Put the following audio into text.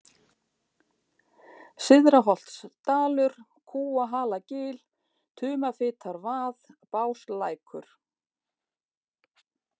Syðra-Holtsdalur, Kúahalagil, Tumafitarvað, Báslækur